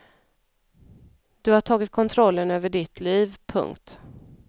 Du har tagit kontrollen över ditt liv. punkt